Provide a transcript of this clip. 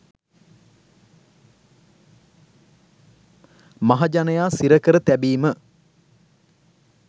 මහජනයා සිරකර තැබීම